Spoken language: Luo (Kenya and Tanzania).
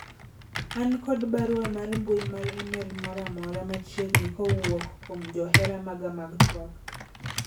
an kod barua mar mbui mar email moro amora machiegni kowuok kuom johera maga mag twak